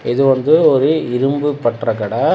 இது வந்து ஒரு இரும்பு பற்ற கட.